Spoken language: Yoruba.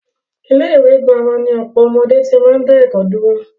Ilé ìwé gírámà ni ọ̀pọ̀ ọmọdé tí máa ń dá ẹ̀kọ́ dúró.